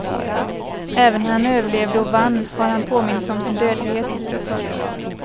Även när han överlevde och vann har han påmints om sin dödlighet. punkt